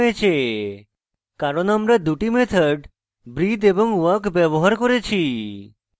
printed হয়েছে কারণ আমরা দুটি methods breathe এবং walk ব্যবহার করেছি